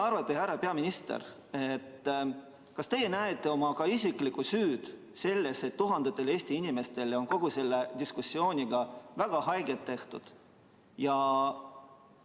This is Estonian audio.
Härra peaminister, kas teie näete ka oma isiklikku süüd selles, et tuhandetele Eesti inimestele on kogu selle diskussiooniga väga haiget tehtud?